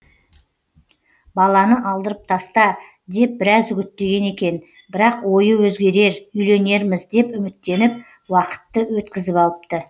баланы алдырып таста деп біраз үгіттеген екен бірақ ойы өзгерер үйленерміз деп үміттеніп уақытты өткізіп алыпты